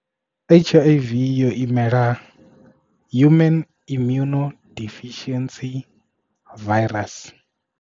H_I_V yo imela human immune deficiency virus.